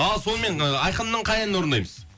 ал сонымен ы айқынның қай әнін орындаймыз